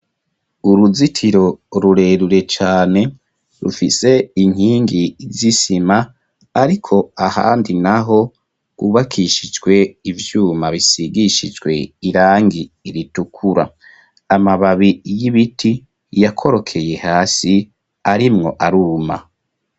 Uruzitiro rurerure cane rufise inkingi z'isima ariko ahandi naho ubakishijwe ivyuma bisigishijwe irangi iritukura amababi y'ibiti yakorokeye hasi arimwo aruma.